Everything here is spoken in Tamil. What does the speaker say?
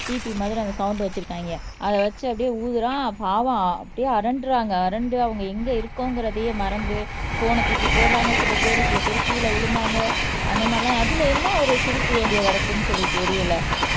பிபி மாதிரி அந்த சவுண்ட் வச்சிருக்காங்க அதை வச்சு அப்படியே ஊதறான் பாவம் அப்படியே அரண்டுறாங்க அரண்டு அவங்க எங்க இருக்கோம்ங்கிறதையே மறந்து போன்ன தூக்கி போடுறாங்க சில பேரு சில பேர் கீழே விழுந்தாங்க அந்த மாதிரிலாம் அதுல என்ன ஒரு சிரிப்பு வேண்டிய கிடக்குன்னு சொல்லி தெரியலே